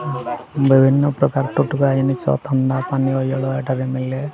ବିଭିନ୍ନ ପ୍ରକାର ତଟକା ଜିନିଷ ଥଣ୍ଡା ପାନୀୟ ଇଆଡ ଏଠାରେ ମିଲେ।